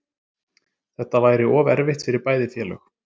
Þetta væri of erfitt fyrir bæði félög